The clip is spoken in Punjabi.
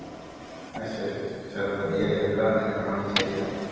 ਅਸ਼ਿਆ ਅਸ਼ਿਆ ਚਲ ਵਧੀਆ ਯਰ ਘਰਦਿਆਂ ਨਾਲ ਕਰਾਉਣੀ ਚਾਈਦੀ help